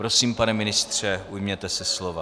Prosím, pane ministře, ujměte se slova.